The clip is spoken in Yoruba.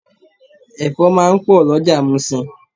Ẹ̀fọ́ máa ń pò lọjà musin.